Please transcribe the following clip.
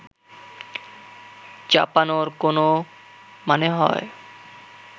চাপানোর কোনও মানে হয়